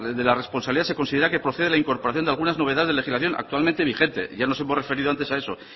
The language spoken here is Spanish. de la responsabilidad se considera que procede la incorporación de algunas novedades de legislación actualmente vigente ya nos hemos referido antes a eso